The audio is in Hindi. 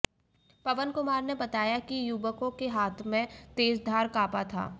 पवन कुमार ने बताया कि युवकों के हाथ में तेजधार कापा था